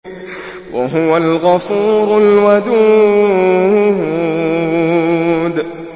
وَهُوَ الْغَفُورُ الْوَدُودُ